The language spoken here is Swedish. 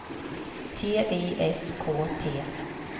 T Y S K T